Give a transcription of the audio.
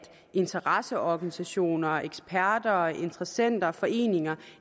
interesseorganisationer og eksperter og interessenter og foreninger